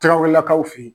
Tɛgɛw lakaw fe yen